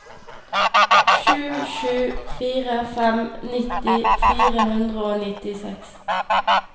sju sju fire fem nitti fire hundre og nittiseks